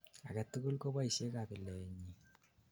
agetugul koboishei kabiletnyin